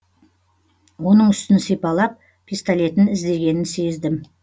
оның үстін сипалап пистолетін іздегенін сездім